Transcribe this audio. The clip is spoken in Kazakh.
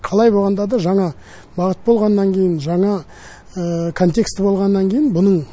қалай болғанда да жаңа бағыт болғаннан кейін жаңа контекст болғаннан кейін бұның